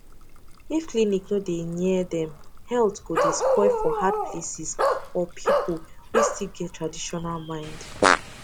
if clinic no dey near dem health go dey spoil for hard places or people wey still get traditional mind